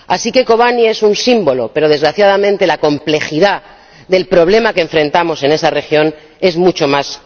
Así que Kobane es un símbolo, pero desgraciadamente la complejidad del problema que enfrentamos en esa región es mucho mayor.